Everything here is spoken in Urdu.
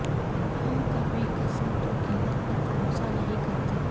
ہم کبھی کثرت و قلت پر بھروسہ نہیں کرتے